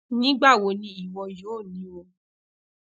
nigbawo ni iwọ yoo ni wọn